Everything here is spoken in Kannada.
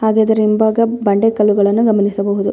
ಹಾಗೆ ಇದರ ಹಿಂಭಾಗ ಬಂಡೆ ಕಲ್ಲುಗಳನ್ನು ಗಮನಿಸಬಹುದು.